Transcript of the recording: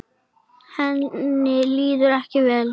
Henni líður ekki vel.